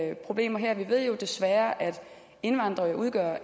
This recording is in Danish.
er problemer her vi ved jo desværre at indvandrere udgør